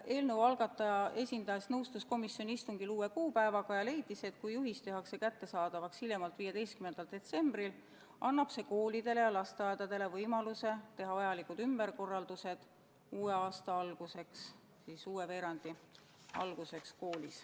Eelnõu algataja esindaja nõustus komisjoni istungil uue kuupäevaga ja leidis, et kui juhis tehakse kättesaadavaks hiljemalt 15. detsembril, annab see koolidele ja lasteaedadele võimaluse teha vajalikud ümberkorraldused uue aasta alguseks ehk uue kooliveerandi alguseks.